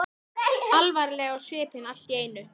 Alvarleg á svipinn allt í einu.